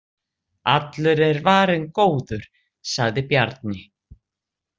Allur er varinn góður, sagði Bjarni.